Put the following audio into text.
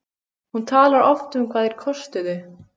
Hún talar oft um hvað þeir kostuðu.